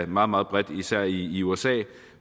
meget meget bredt især i usa